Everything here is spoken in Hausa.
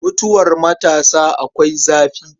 Mutuwar matasa akwai zafi.